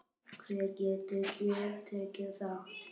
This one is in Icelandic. Hver getur tekið þátt?